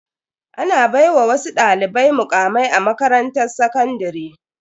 Ana baiwa wasu dalibai mukamai a makarantar sakandare.